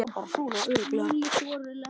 Þetta er orðið gott.